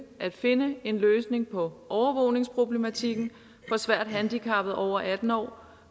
at finde en løsning på overvågningsproblematikken for svært handicappede over atten år